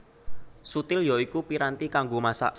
Suthil ya iku piranti kanggo masak